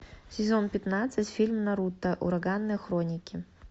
сезон пятнадцать фильм наруто ураганные хроники